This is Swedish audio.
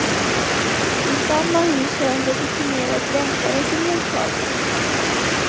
I samma hus har en legitimerad läkare sin mottagning.